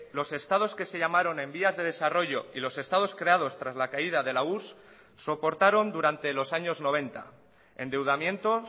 los estados que se llamaron en vías de desarrollo y los estados creados tras la caída de la urss soportaron durante los años noventa endeudamientos